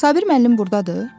Sabir müəllim burdadır?